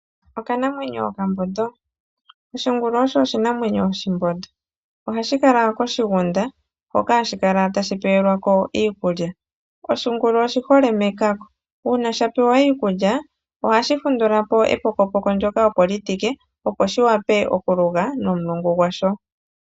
Okanamwenyo okambondo. Oshingulu osho oshinamwemyo oshimbondo. Ohashi kala koshigunda, hono hashi kala tashi pewelwa ko iikulya. Oshingulu oshihole mekako, uuna sha pewa iikulya ohashi fundula po epokopoko ndyoka opo li tike, opo shi wape okuluga nomulungu gwasho.